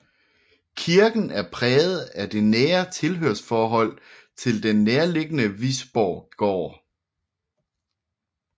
Kirken er præget af det nære tilhørsforhold til den nærliggende Visborggård